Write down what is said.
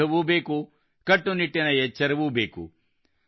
ಔಷಧವೂ ಬೇಕು ಕಟ್ಟುನಿಟ್ಟಿನ ಎಚ್ಚರವೂ ಬೇಕು